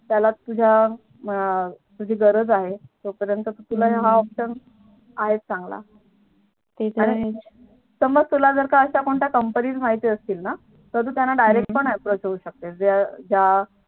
त्याला तुझी गरज आहे तो पर्यंत तुला हा Option आहेत चांगलं. ते तर आहेच जर तुला काही Company माहिती असतील ना तर तू त्यांना Direct approach पण होऊ शकतेस ज्या ज्या